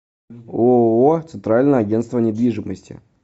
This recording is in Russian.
ооо центральное агентство недвижимости